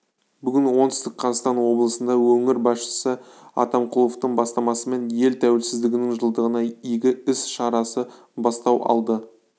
бүгін оңтүстік қазақстан облысында өңір басшысы атамқұловтың бастамасымен ел тәуелсіздігінің жылдығына игі іс шарасы бастау алды